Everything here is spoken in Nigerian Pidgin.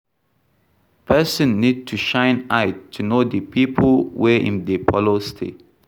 Person need to shine eye to know di pipo wey im dey follow stay